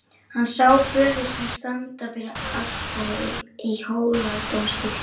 Hann sá föður sinn standa fyrir altari í Hóladómkirkju.